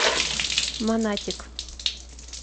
монатик